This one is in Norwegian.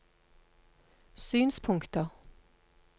synspunkter